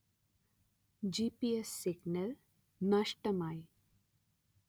ജി_letter-en പി_letter-en എസ്_letter-en സിഗ്നൽ നഷ്ടമായി